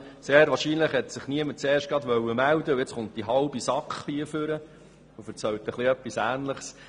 Sehr wahrscheinlich wollte sich niemand gleich zuerst melden, und nun kommt die halbe SAK ans Rednerpult und erzählt Ähnliches.